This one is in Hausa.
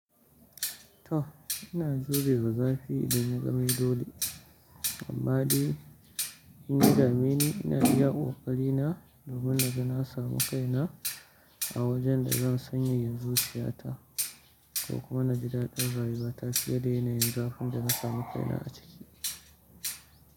To ina zurewa zafi idan ya zame dole, amma dai inya dameni, ina iya ƙoƙari na domin naga na samu kaina a wajen da zan sanyaya zuciyata ko kuma na ji daɗin rayuwa ta fiye da yanayin zafin da na samu kaina a ciki.